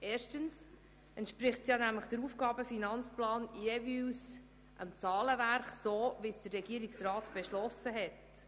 Erstens entspricht der AFP damit dem Zahlenwerk, welches der Regierungsrat beschlossen hat.